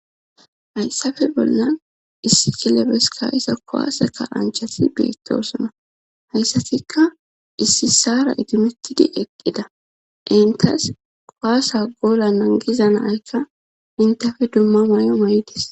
Hayssafe bollan issi kilebeska isa kowaaseka anchasi beettosona hayssatikka issi sara idimettidi eqqida entas qowaasa goola nangiza naykka intafe dumma may'o may'idis.